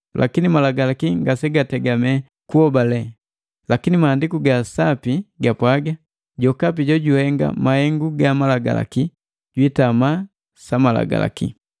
Lakini Malagalaki ngasegategamela kuhobale, lakini Maandiku ga Sapi gapwaga, “Jokapi jojuhenga mahengu ga malagalaki jwiitama sa Malagalaki.”